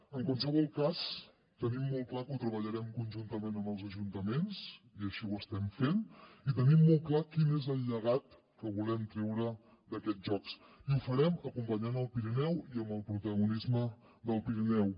en qualsevol cas tenim molt clar que ho treballarem conjuntament amb els ajuntaments i així ho estem fent i tenim molt clar quin és el llegat que volem treure d’aquests jocs i ho farem acompanyant el pirineu i amb el protagonisme del pirineu